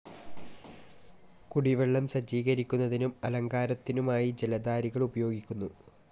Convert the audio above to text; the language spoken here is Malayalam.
കുടിവെള്ളം സജ്ജീകരിക്കുന്നതിനും അലങ്കാരത്തിനുമായി ജലധാരകൾ ഉപയോഗിക്കുന്നു.